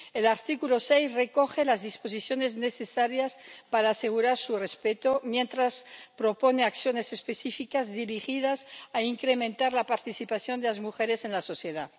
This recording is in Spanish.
El artículo 6 recoge las disposiciones necesarias para asegurar su respeto mientras propone acciones específicas dirigidas a incrementar la participación de las mujeres en la sociedad.